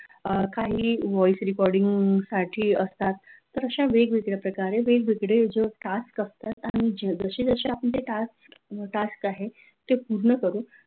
अह काही voice recording साठी असतात तर अशा वेगवेगळ्या प्रकारे वेगवेगळे जे task असतात आणि जसे जसे ते task आहेत ते आपण पूर्ण करू